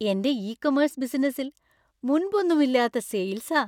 എന്‍റെ e commerce ബിസിനസ്സിൽ മുന്‍പൊന്നുമില്ലാത്ത സെയില്‍സാ!